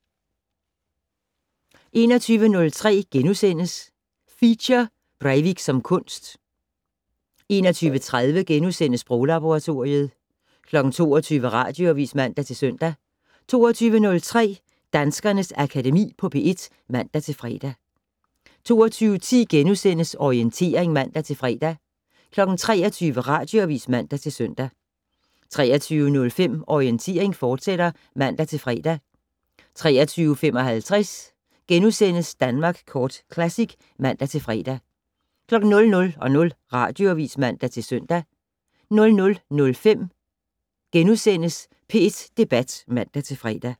21:03: Feature: Breivik som kunst * 21:30: Sproglaboratoriet * 22:00: Radioavis (man-søn) 22:03: Danskernes Akademi på P1 (man-fre) 22:10: Orientering *(man-fre) 23:00: Radioavis (man-søn) 23:05: Orientering, fortsat (man-fre) 23:55: Danmark Kort Classic *(man-fre) 00:00: Radioavis (man-søn) 00:05: P1 Debat *(man-fre)